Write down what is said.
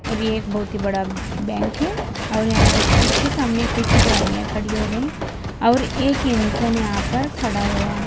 और यह एक बहुत ही बड़ा बैंक है और यहां इसके सामने कुछ गाड़ियां खड़ी हो गई और एक इंसान यहां पर खड़ा हुआ है।